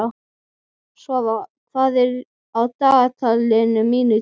Svafar, hvað er á dagatalinu mínu í dag?